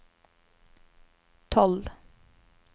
tolv